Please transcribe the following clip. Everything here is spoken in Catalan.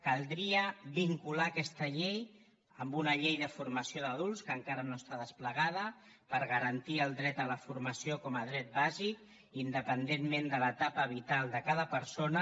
caldria vincular aquesta llei a una llei de formació d’adults que encara no està desplegada per garantir el dret a la formació com a dret bàsic independentment de l’etapa vital de cada persona